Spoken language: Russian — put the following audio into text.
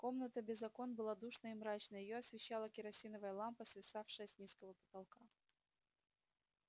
комната без окон была душной и мрачной её освещала керосиновая лампа свисавшая с низкого потолка